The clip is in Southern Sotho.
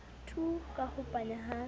tu ka ho panya ha